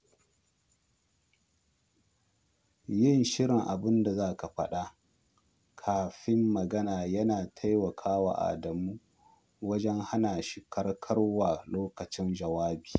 Yin shirin abinda za a faɗa kafin magana yana taimaka wa Adamu wajen hana shi kakkarwa lokacin jawabi.